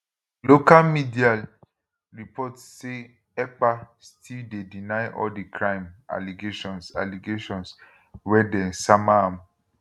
local mediayle report say ekpastill dey deny all di crime allegations allegations wey dem sama am